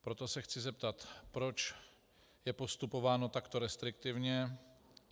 Proto se chci zeptat, proč je postupováno takto restriktivně.